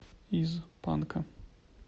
из панка